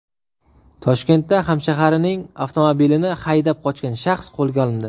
Toshkentda hamshaharining avtomobilini haydab qochgan shaxs qo‘lga olindi.